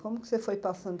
Como que você foi passando?